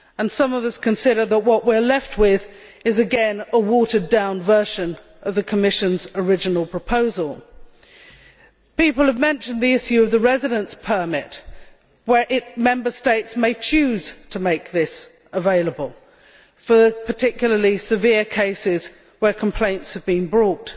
Some of us consider that what we are left with is, again, a watered down version of the Commission's original proposal. People have mentioned the issue of the residence permit, where Member States may choose to make this available for particularly severe cases where complaints have been brought.